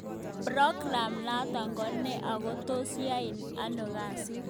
progam noto ko ne ako tos yaitai ano kasi